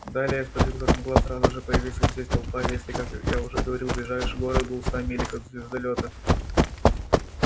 далее я спросил как могла сразу же появиться здесь толпа если как я уже говорил ближайший город был в ста милях от звездолёта